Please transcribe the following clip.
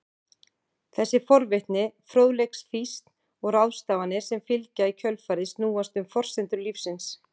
Þessi forvitni, fróðleiksfýsn og ráðstafanir sem fylgja í kjölfarið snúast um forsendur lífsins.